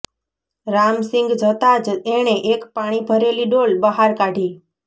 રામસિંગ જતાં જ એણે એક પાણી ભરેલી ડોલ બહાર કાઢી